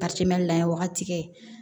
lan wagati kɛ